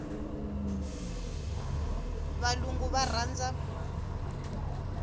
valungu va rhandza